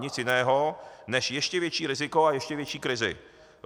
Nic jiného než ještě větší riziko a ještě větší krizi.